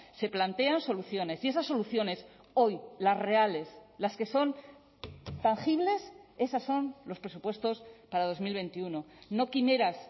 se plantean soluciones y esas soluciones hoy las reales las que son tangibles esas son los presupuestos para dos mil veintiuno no quimeras